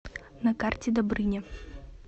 на карте добрыня